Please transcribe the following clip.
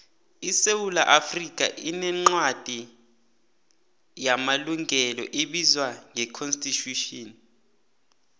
isewula afrikha inencwadi wamalungelo ebizwa ngeconsitution